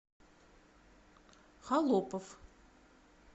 холопов